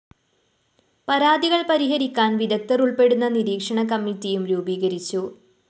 പരാതികള്‍ പരിഹരിക്കാന്‍ വിദഗ്ധര്‍ ഉള്‍പ്പെടുന്ന നിരീക്ഷണ കമ്മിറ്റിയും രൂപീകരിച്ചു